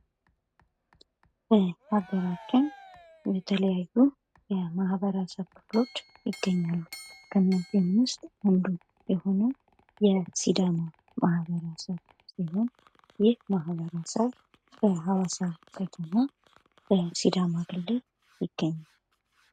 በኡገራችን የተለያዩ የማኅበረሰብ ክፍሎች ይገኛሉ። ከእነዚህም ውስጥ አንዱ የሆነው የሲዳማ ማህበረሰብ ሲሆን ይህ ማህበረሰብ በሀዋሳ ከተማ በሲዳማ ክልል ይገኛል።